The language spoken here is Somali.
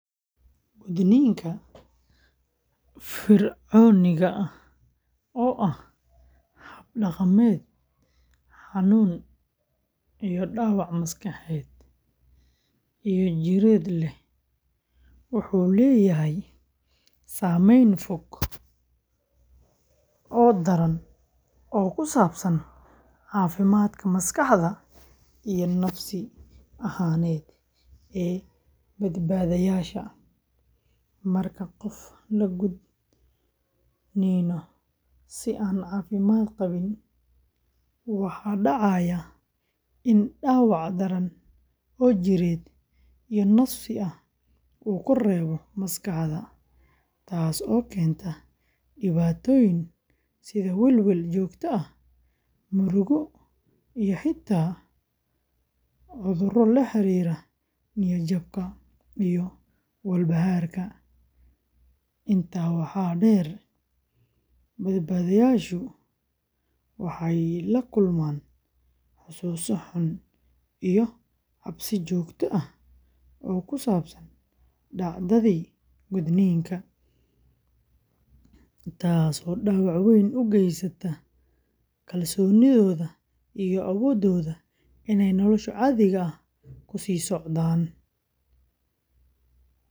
Gudniinka fircooniga ah, oo ah hab dhaqameed xanuun iyo dhaawac maskaxeed iyo jireedba leh, wuxuu leeyahay saamayn fog oo daran oo ku saabsan caafimaadka maskaxda iyo nafsi ahaaneed ee badbaadayaasha. Marka qof la gudniino si aan caafimaad qabin, waxa dhacaya in dhaawac daran oo jireed iyo nafsi ah uu ku reebo maskaxda, taasoo keenta dhibaatooyin sida welwel joogto ah, murugo, iyo xitaa cudurro la xiriira niyad-jabka iyo walbahaarka. Intaa waxaa dheer, badbaadayaashu waxay la kulmaan xusuuso xun iyo cabsi joogto ah oo ku saabsan dhacdadii gudniinka, taasoo dhaawac weyn u geysata kalsoonidooda iyo awooddooda inay nolosha caadiga ah ku sii socdaan.